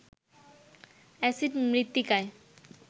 acid মৃত্তিকায়